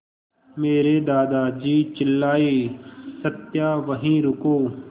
मेरे दादाजी चिल्लाए सत्या वहीं रुको